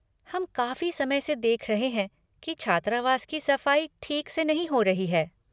हम काफ़ी समय से देख रहें हैं की छात्रावास की सफ़ाई ठीक से नहीं हो रही है।